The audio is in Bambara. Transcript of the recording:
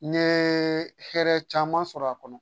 N ye hɛrɛ caman sɔrɔ a kɔnɔ